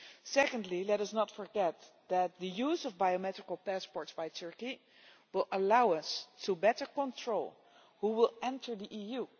Secondly, let us not forget that the use of biometric passports by Turkey will allow us to better control who enters the EU.